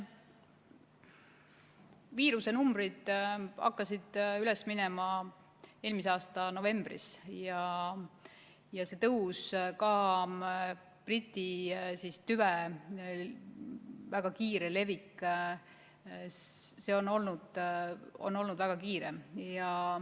Viirusenumbrid hakkasid üles minema eelmise aasta novembris ja see tõus, ka Briti tüve väga kiire levik, on olnud väga kiire.